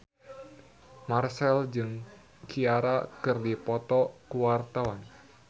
Marchell jeung Ciara keur dipoto ku wartawan